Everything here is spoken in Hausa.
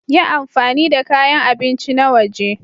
Yi amfani da kayan abinci na waje.